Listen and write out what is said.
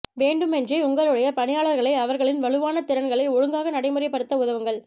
வேண்டுமென்றே உங்களுடைய பணியாளர்களை அவர்களின் வலுவான திறன்களை ஒழுங்காக நடைமுறைப்படுத்த உதவுங்கள்